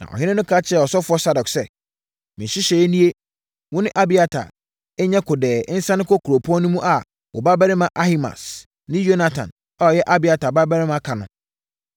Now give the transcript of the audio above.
Na ɔhene no ka kyerɛɛ ɔsɔfoɔ Sadok sɛ, “Me nhyehyɛeɛ nie: Wo ne Abiatar nyɛ kodɛɛ nsane nkɔ kuropɔn no mu a wo babarima Ahimaas ne Yonatan a ɔyɛ Abiatar babarima ka ho.